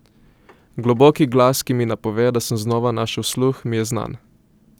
Globoki glas, ki mi napove, da sem znova našel sluh, mi je znan.